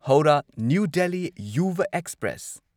Howrah New Delhi Yuva express